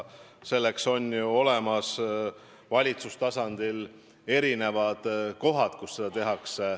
Selleks on ju valitsustasandil olemas kohad, kus seda teha.